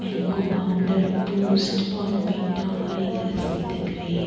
Mango powder Boost Bournvita और एक रस्सी दिख रही है।